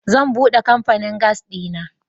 Zan bude kamfanin gas dina.